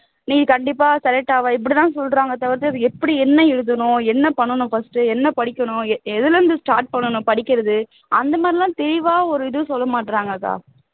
நீ கண்டிப்பா select ஆவ இப்படித்தான் சொல்றாங்களே தவிர்த்து அது எப்படி என்ன எழுதணும் என்ன பண்ணனும் first என்ன படிக்கணும் எதுல இருந்து start பண்ணனும் படிக்கிறது அந்த மாதிரி எல்லாம் தெளிவா ஒரு இது சொல்ல மாட்றாங்க அக்கா